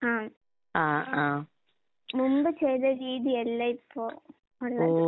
ആഹ്. അഹ് മുമ്പ് ചെയ്ത രീതിയല്ല ഇപ്പൊ ഒള്ളത്.